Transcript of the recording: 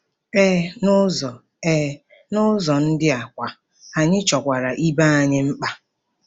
Ee, n'ụzọ Ee, n'ụzọ ndị a kwa, anyị chọkwara ibe anyị mkpa.